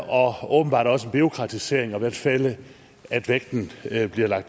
og åbenbart også en bureaukratisering i hvert fald at vægten